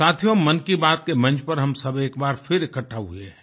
साथियो मन की बात के मंच पर हम सब एक बार फिर इकट्ठा हुए हैं